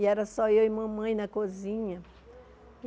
E era só eu e mamãe na cozinha.